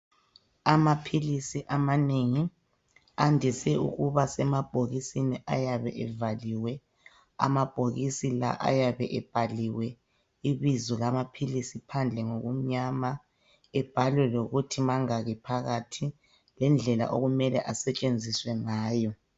Amaphilisi amanengi andise ukuba semabhokisini ayabe evaliwe amabhokisi la ayabe ebhaliwe ibizo lamaphilisi phandle ngokumnyama ebhalwe lokuthi mangaki phakathi lendlela okumele asetshenziswe ngayo